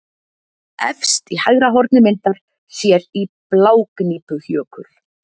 Efst í hægra horni myndar sér í Blágnípujökul.